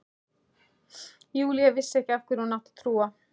Júlía vissi ekki hverju hún átti að trúa.